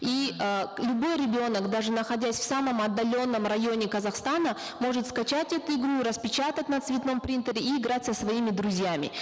и э любой ребенок даже находясь в самом отдаленном районе казахстана может скачать эту игру распечатать на цветном принтере и играть со своими друзьями